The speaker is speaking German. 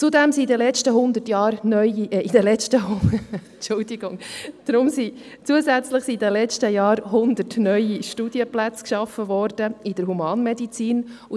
Zusätzlich wurden in den letzten Jahren 100 neue Studienplätze in der Humanmedizin geschaffen.